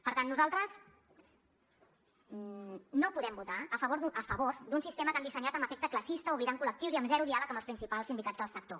per tant nosaltres no podem votar a favor d’un sistema que han dissenyat amb efecte classista oblidant col·lectius i amb zero diàleg amb els principals sindicats del sector